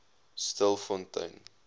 stilfontein